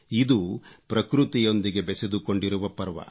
ಇದು ಪ್ರಕೃತಿಯೊಂದಿಗೆ ಬೆಸೆದುಕೊಂಡಿರುವ ಪರ್ವ